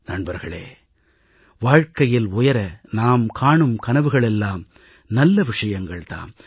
நண்பர்களே வாழ்கையில் உயர நாம் காணும் கனவுகள் எல்லாம் நல்ல விஷயங்கள் தாம்